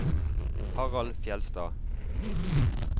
Harald Fjellstad